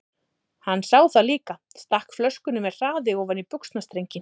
Hann sá það líka, stakk flöskunni með hraði ofan í buxnastrenginn.